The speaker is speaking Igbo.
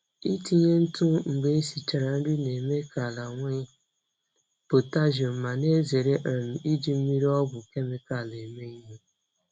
Itinye ntụ mgbe esichara nri na-eme ka ala nwee potassium ma na-ezere um iji mmiri ọgwụ kemịkal eme ihe.